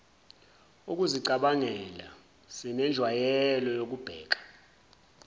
ukuzicabangela sinenjwayelo yokubheka